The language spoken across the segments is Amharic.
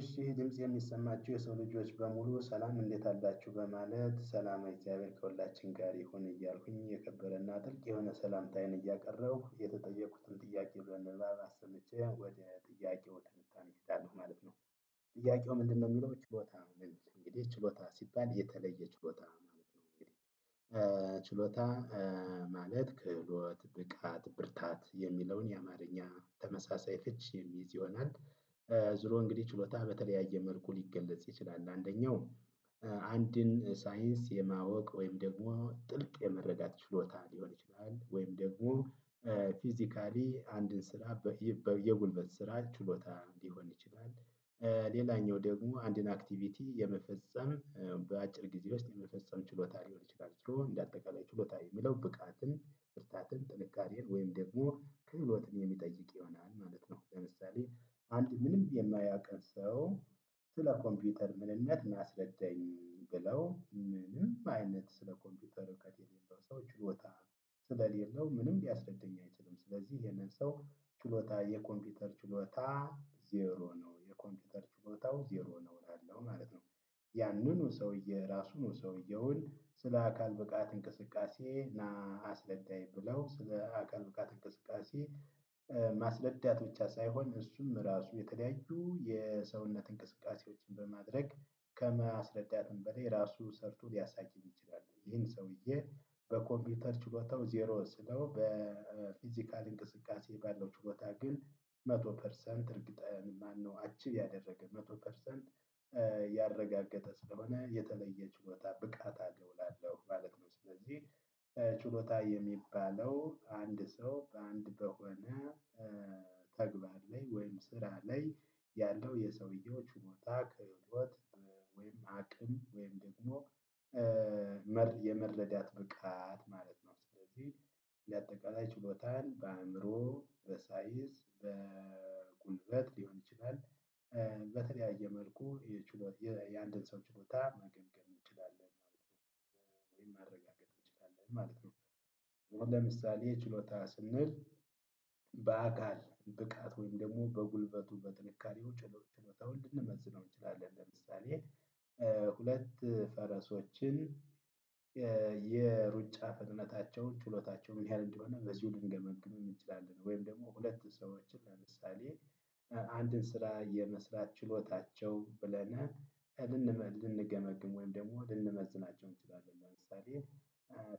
እሺ ይሄ ድምጽ የሚሰማችሁ የሰው ልጆች በሙሉ ሰላም እንዴት አላችሁ በማለት ሰላማ እግዚአብሔር ከሁላችን ጋር ይሁን እያልኩኝ የከበረ እና ትልቅ የሆነ ሰላምታዬን እያቀረብኩ የተጠየቁትን ጥያቄ ብለን አስመቼ ወደ ጥያቄው ትምህርት አንችልም ማለት ነው። ጥያቄው ምንድነው የሚለው ችሎታ? እንግዲህ ችሎታ ሲባል የተለየ ችሎታ ማለት ነው። እንግዲህ። ችሎታ ማለት ክህሎት ብቃት ብርታት የሚለውን የአማርኛ ተመሳሳይ ፍቺ የሚይዝ ይሆናል። ዙሮ እንግዲህ ችሎታ በተለያየ መልኩ ሊገለጽ ይችላል። አንደኛው አንድን ሳይንስ የማወቅ ወይም ደግሞ ጥልቅ የመረዳት ችሎታ ሊሆን ይችላል። ወይም ደግሞ ፊዚካሊ አንድን ስራ በየጉልበት ስራ ችሎታ ሊሆን ይችላል። ሌላኛው ደግሞ አንድን አክቲቪቲ የመፈጸም በአጭር ግዜ ውስጥ የመፈጸም ችሎታ ሊሆን ይችላል። እንደ አጠቃላይ ችሎታ የሚለው ብቃትን ብርታትን ጥንካሬን ወይም ደግሞ ክህሎትን የሚጠይቅ ይሆናል ማለት ነው። ለምሳሌ አንድን ምንም የማያውቅ ሰው ስለ ኮምፒውተር ምንነት ሚያስረዳኝ ብለው ምንም አይነት ስለ ኮምፒውተር እውቀት የሌለው ሰው ችሎታ ስለሌለው ምንም ሊያስረዳኝ አይችልም። ስለዚህ ይሄንን ሰው ችሎታ የኮምፒውተር ችሎታ ዜሮ ነው የኮምፒውተር ችሎታው ዜሮ ነው እላለው ማለት ነው። ያንኑ ሰውዬ ራሱን ሰውዬውን ስለ አካል ብቃት እንቅስቃሴ ና አስረዳኝ ብለው ስለ አካል ብቃት እንቅስቃሴ ማስረዳት ብቻ ሳይሆን እሱም ራሱ የተለያዩ የሰውነት እንቅስቃሴዎችን በማድረግ ከማስረዳትም በላይ ራሱ ሰርቶ ሊያሳየኝ ይችላል። ይሄን ሰውዬ በኮምፒውተር ችሎታው ዜሮ ስለው በፊዚካል እንቅስቃሴ ባለው ችሎታ ግን መቶ ፐርሰንት እርግጠኛ ማነው አቺቭ ያደረገ መቶ ፐርሰንት። ያረጋገጠ ስለሆነ የተለየ ችሎታ ብቃት አለው እላላለሁ ማለት ነው። ስለዚህ ችሎታ የሚባለው አንድ ሰው በአንድ በሆነ ተግባር ላይ ወይም ስራ ላይ ያለው የሰውየው ችሎታ ክህሎት ወይም አቅም ወይም ደግሞ የመረዳት ብቃት ማለት ነው። ስለዚህ እንደ አጠቃላይ ችሎታን በአእምሮ በሳይዝ በጉልበት ሊሆን ይችላል። በተለያየ መልኩ የችሎታ የአንድን ሰው ችሎታ መገምገም እንችላለን ማለት ነው። ወይም ማረጋገጥ እንችላለን ማለት ነው። አሁን ለምሳሌ ችሎታ ስንል በአካል ብቃት ወይም ደግሞ በጉልበቱ በጥንካሬው ችሎታውን ልንመዝነው እንችላለን። ለምሳሌ ሁለት ፈረሶችን የሩጫ ፍጥነታቸውን ችሎታቸውን ምን ያህል እንደሆነ በዚሁ ልንገመግምም እንችላለን። ወይም ደግሞ ሁለት ሰዎችን ለምሳሌ አንድን ስራ የመስራት ችሎታቸው ብለናል ልንገመግም ወይም ደግሞ ልንመዝናቸው እንችላለን። ለምሳሌ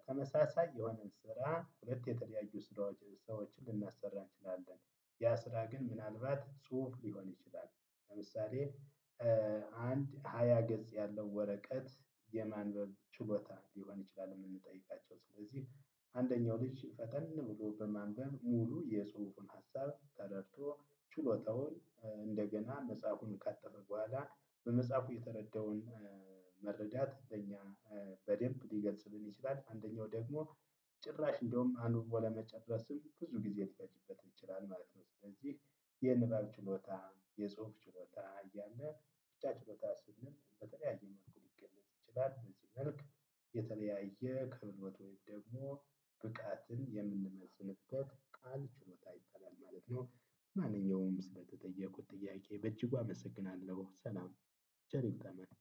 ተመሳሳይ የሆነን ስራ ሁለት የተለያዩ ስራዎች ሰዎችን ልናሰራ እንችላለን። ያ ስራ ግን ምናልባት ጽሁፍ ሊሆን ይችላል ለምሳሌ አንድ ሃያ ገጽ ያለው ወረቀት የማንበብ ችሎታ ሊሆን ይችላል። የምንጠይቃቸው ስለዚህ አንደኛው ልጅ ፈጠን ብሎ በማንበብ ሙሉ የፅሁፉን ሀሳብ ተረድቶ ችሎታውን እንደገና መፅሀፉን ካጠፈ በኋላ በመፅሀፉ የተረዳውን መረዳት ለኛ በደንብ ሊገልጽልን ይችላል። አንደኛው ደግሞ ጭራሽ እንደውም አንብቦ ለመጨረስም ብዙ ጊዜ ሊፈጅበት ይችላል ማለት ነው። ስለዚህ የንባብ ችሎታ የጽሁፍ ችሎታ እያልን ብቻ ችሎታ ስንል በተለያየ መልኩ ሊገለጽ ይችላል። በዚህ መልክ የተለያየ ከህሎት ወይም ደግሞ ብቃትን የምንመዝንበት ቃል ችሎታ ይበላል ማለት ነው። ለማንኛውም ስለተጠየቁት ጥያቄ በእጅጉ አመሰግናለሁ ሰላም ቸር ይግጠመን